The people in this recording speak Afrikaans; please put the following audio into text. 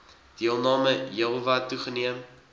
deelname heelwat toegeneem